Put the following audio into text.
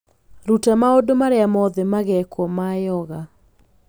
Ruta maũndũ marĩa mothe magekwo ma yoga